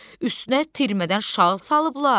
Üstünə tirmədən şal salıblar.